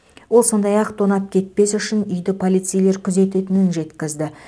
ол сондай ақ тонап кетпес үшін үйді полицейлер күзететінін жеткізді